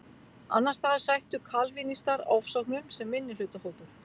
Annars staðar sættu kalvínistar ofsóknum sem minnihlutahópur.